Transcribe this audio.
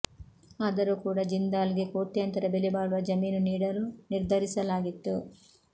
ಆದರೂ ಕೂಡ ಜಿಂದಾಲ್ ಗೆ ಕೋಟ್ಯಂತರ ಬೆಲೆಬಾಳುವ ಜಮೀನು ನೀಡಲು ನಿರ್ಧರಿಸಲಾಗಿತ್ತು